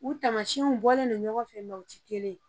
U tamasiɲɛw bɔlen don ɲɔgɔn fɛ mɛ u rɛ kelen ye.